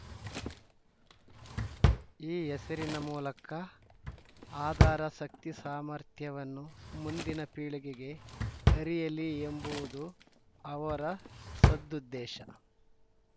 ಈ ಹೆಸರಿನ ಮೂಲಕ ಆದಾರ ಶಕ್ತಿ ಸಾಮರ್ಥ್ಯವನ್ನು ಮುಂದಿನ ಪೀಳಿಗೆಗೆ ಅರಿಯಲಿ ಎಂಬುವುದು ಅವರ ಸದ್ದು ದೇಶ